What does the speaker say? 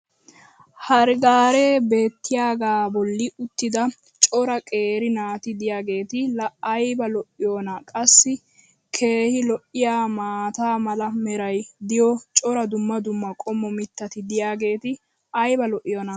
hare gaaree beetiyaagaa boli uttida cora qeeri naati diyaageeti laa ayba lo'iyoonaa? qassi keehi lo'iyaa maata mala meray diyo cora dumma dumma qommo mitatti diyaageti ayba lo'iyoonaa?